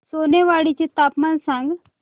सोनेवाडी चे तापमान सांग